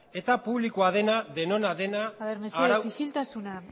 eta publikoa dena denona dena arau aber mesedez isiltasuna